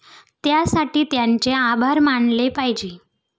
त्यासाठी त्यांचे आभार मानले पाहिजे.